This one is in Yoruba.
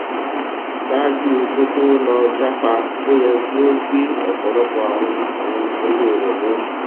ṣaaju ki o to lọ japa o yẹ ki o gbe ọpọlọpọ awọn awọn owo rẹ lori